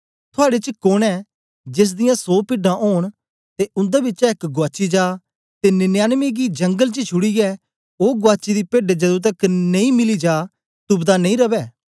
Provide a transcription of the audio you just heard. थुआड़े च कोन ऐ जेस दियां सौ पिड्डां ओंन ते उन्दे बिचा एक गुआची जा ते निन्यानबे गी जंगल च छुड़ीयै ओ गुआची दी पेड्ड जदूं तकर मिली नेई जा तुपदा नेई रवै